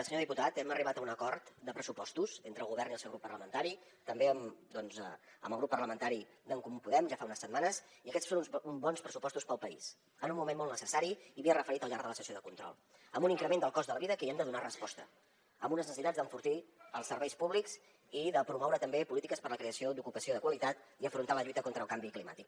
senyor diputat hem arribat a un acord de pressupostos entre el govern i el seu grup parlamentari també doncs amb el grup parlamentari d’en comú podem ja fa unes setmanes i aquests són uns bons pressupostos per al país en un moment molt necessari i m’hi he referit al llarg de la sessió de control amb un increment del cost de la vida que hi hem de donar resposta amb unes necessitats d’enfortir els serveis públics i de promoure també polítiques per a la creació d’ocupació de qualitat i afrontar la lluita contra el canvi climàtic